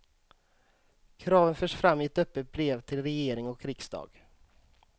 Kraven förs fram i ett öppet brev till regering och riksdag.